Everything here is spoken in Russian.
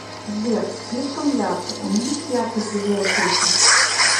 сбер слишком ярко уменьши яркость в библиотеке